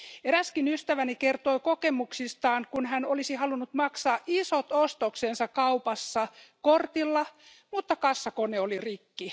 Eräskin ystäväni kertoo kokemuksestaan, kun hän olisi halunnut maksaa isot ostoksensa kaupassa kortilla, mutta kassakone oli rikki.